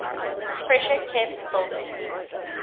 pressure kept building